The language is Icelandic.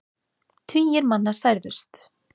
Tugir manna særðust.